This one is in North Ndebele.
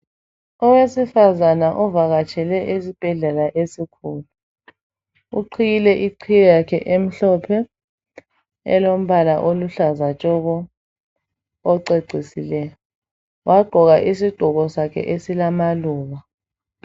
Owesifazana ovakatshele esibhedlela esikhulu. Uqhiyile iqhiye yakhe emhlophe elombala oluhlaza tshoko ocecisileyo. Wagqoka isigqoko sakhe esilamaluba.